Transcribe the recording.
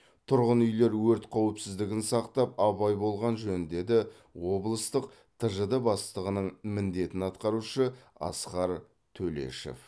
тұрғын үйлер өрт қауіпсіздігін сақтап абай болған жөн деді облыстық тжд бастығының міндетін атқарушы асқар төлешов